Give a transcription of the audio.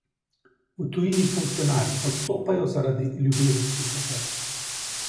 V tujini funkcionarji odstopajo zaradi ljubezenskih afer.